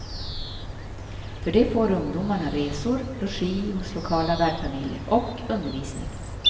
För det får ungdomarna resor, logi hos lokala värdfamiljer och undervisning.